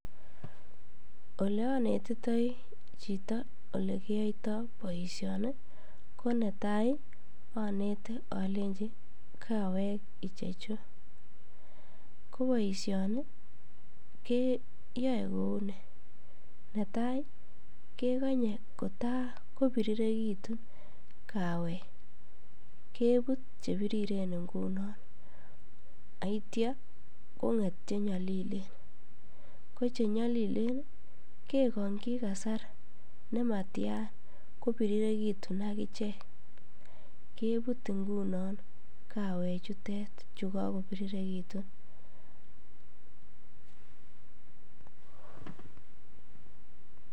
Olonetitoi chito olekiyoito boishoni ko netai onete olenji kawek ichechu, ko boishoni keyoe kouni, nataa kekonye kotaa ko birirekitun kawek kebut chebiriren ing'unon akityo kong'et chenyolilen, yeng'et chenyolilen kekongyi kasar nematian ko birirekitun akichek kebut ing'unon kawek chutet chuu ko kobirirekitun.